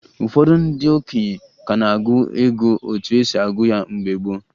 Ụfọdụ ndị okenye ka n'agụ ego etu esi agụ ya mgbe gboo